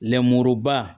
Lenmuruba